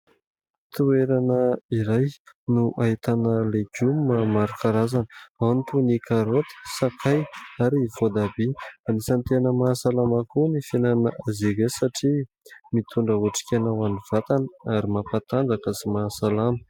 Toerana iray no ahitana legioma maro karazana, ao ny toy ny karaoty, sakay ary voatabia. Anisan'ny tena mahasalama koa ny fihinanana azy satria mitondra otrikaina ho an'ny vatana ary mampatanjaka sy mahasalama.